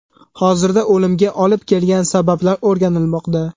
Hozirda o‘limga olib kelgan sabablar o‘rganilmoqda.